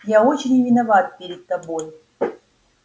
я очень виноват перед тобой